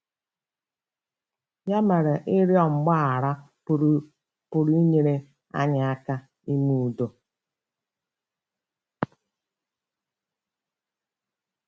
Ya mara, ịrịọ mgbaghara pụrụ inyere anyị aka ime udo.